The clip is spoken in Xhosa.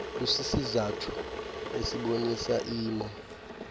busisizathu esibonisa imo